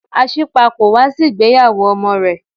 Asípa kò wá sí ìgbéyàwó ọmọ rẹ̀.